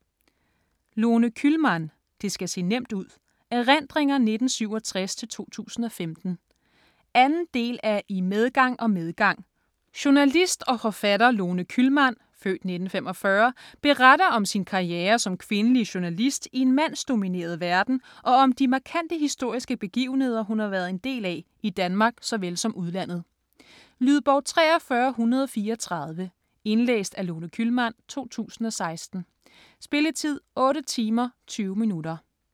Kühlmann, Lone: Det skal se nemt ud: erindringer 1967-2015 2. del af I medgang og medgang. Journalist og forfatter Lone Kühlmann (f. 1945) beretter om sin karriere som kvindelig journalist i en mandsdomineret verden og om de markante historiske begivenheder hun har været en del af, i Danmark såvel som udlandet. Lydbog 43134 Indlæst af Lone Kühlmann, 2016. Spilletid: 8 timer, 20 minutter.